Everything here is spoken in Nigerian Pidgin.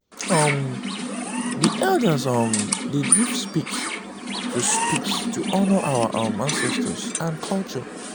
um di elders um dey give speech to speech to honor our um ancestors and culture.